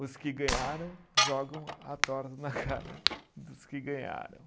Os que ganharam jogam a torta na cara dos que ganharam.